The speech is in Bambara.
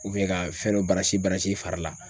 ka fɛn dɔ i fari la.